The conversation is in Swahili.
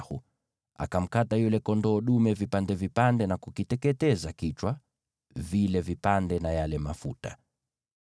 Mose akamkata yule kondoo dume vipande vipande na kukiteketeza kichwa, vile vipande na yale mafuta.